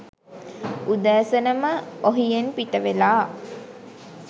උදෑසනම ඔහියෙන් පිටවෙලා